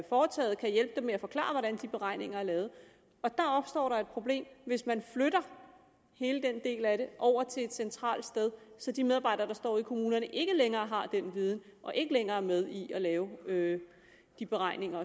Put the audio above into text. foretaget og kan hjælpe dem med at forklare hvordan de beregninger er lavet og der opstår et problem hvis man flytter hele den del af det over til et centralt sted så de medarbejdere der står i kommunerne ikke længere har den viden og ikke længere er med i at lave de beregninger